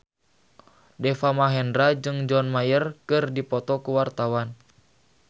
Deva Mahendra jeung John Mayer keur dipoto ku wartawan